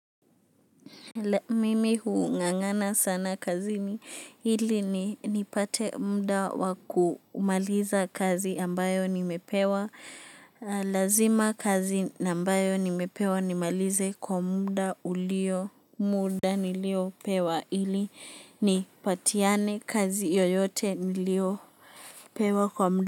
Mimi hung'ang'ana sana kazini ili ni nipate muda wa kumaliza kazi ambayo nimepewa. Lazima kazi ambayo nimepewa nimalize kwa muda ulio muda niliopewa ili ni patiane kazi yoyote niliopewa kwa muda.